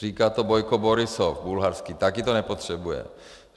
Říká to Bojko Borisov, bulharský, také to nepotřebuje.